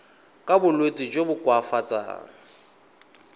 ka bolwetsi jo bo koafatsang